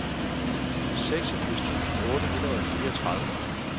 seksogfirs tusind otte hundrede og fireogtredive